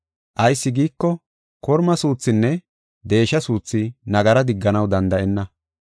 Ayis giiko, korma suuthinne deesha suuthi nagara digganaw danda7enna.